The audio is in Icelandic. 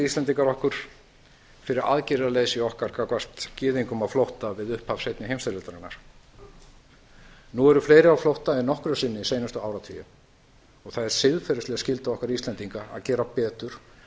íslendingar okkar fyrir aðgerðaleysi okkar gagnvart gyðingum á flótta við upphaf seinni heimsstyrjaldarinnar nú eru fleiri á flótta en nokkru sinni seinustu áratugi það er siðferðisleg skylda okkar íslendinga að gera betur